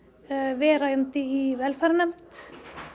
verandi í velferðarnefnd